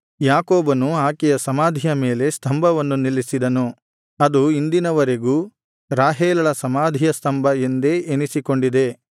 ಯಾಕೋಬನು ಆಕೆಯ ಸಮಾಧಿಯ ಮೇಲೆ ಸ್ತಂಭವನ್ನು ನಿಲ್ಲಿಸಿದನು ಅದು ಇಂದಿನವರೆಗೂ ರಾಹೇಲಳ ಸಮಾಧಿಯ ಸ್ತಂಭ ಎಂದೇ ಎನಿಸಿಕೊಂಡಿದೆ